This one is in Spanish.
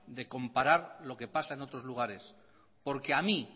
de comparar lo que pasa en otros lugares porque a mí